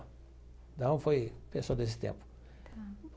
Então, foi pessoa desse tempo. Tá.